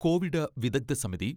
Covid വിദഗ്ദ്ധ സമിതി